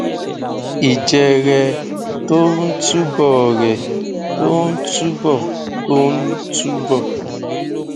ìjẹrẹ tó ń túbọrẹ tó ń túbọ tó ń túbọ